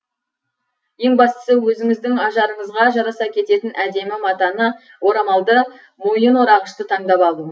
ең бастысы өзіңіздің ажарыңызға жараса кететін әдемі матаны орамалды мойын орағышты таңдап алу